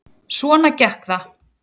Svona gekk það.